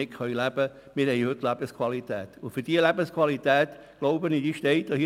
Wir haben heute eine gute Lebensqualität, und die Motion steht, glaube ich, für die Lebensqualität.